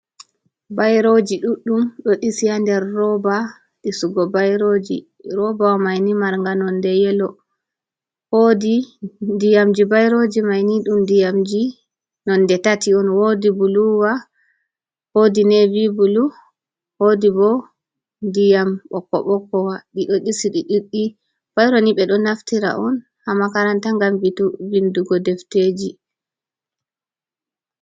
Bairoji ɗuɗɗum ɗo ɗisi ha nder roba ɗisu go bairoji, robawa maini mar nga nonde yelo, wodi diyamji i bairoji maini dum diyamji non de tati on, wodi buluwa, hodi nivi bulu, wodi bo ndiyam ɓoko ɓoko wa, ɗi ɗo ɗisi ɗi ɗoɗɗi, baironi ɓe ɗo naftira on ha makaranta gambito vindugo defteji.